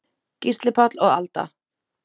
Gísli Páll og Alda.